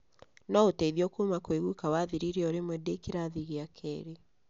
No uteithio kuma kwi guka wathirire orimwe ndi kirathi gia keeri.